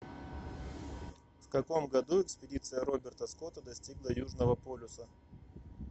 в каком году экспедиция роберта скотта достигла южного полюса